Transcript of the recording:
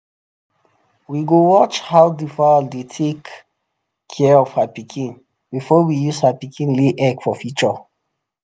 we go watch how the fowl dey take care of her pikin before we use her pikin lay egg for future.